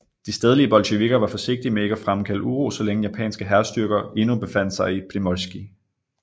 De stedlige bolsjevikker var forsigtige med ikke at fremkalde uro så længe japanske hærstyrker endnu befandt sig i Primorskij